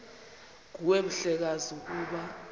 nguwe mhlekazi ukuba